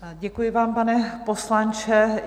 Děkuji vám, pane poslanče.